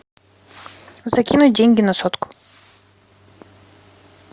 закинуть деньги на сотку